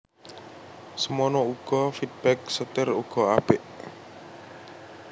Semono uga feedback setir uga apik